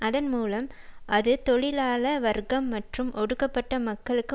அதன் மூலம் அது தொழிலாள வர்க்கம் மற்றும் ஒடுக்கப்பட்ட மக்களுக்கு